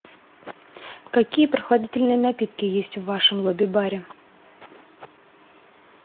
какие прохладительные напитки есть в вашем лобби баре